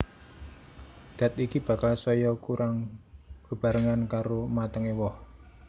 Dat iki bakal saya kurang bebarengan karo matengé woh